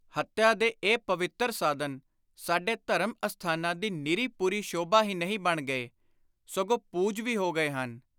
ਹੱਤਿਆ ਦੇ ਇਹ ‘ਪਵਿੱਤਰ ਸਾਧਨ’ ਸਾਡੇ ਧਰਮ ਅਸਥਾਨਾਂ ਦੀ ਨਿਰੀ ਪੁਰੀ ਸ਼ੋਭਾ ਹੀ ਨਹੀਂ ਬਣ ਗਏ, ਸਗੋਂ ‘ਪੂਜ’ ਵੀ ਹੋ ਗਏ ਹਨ।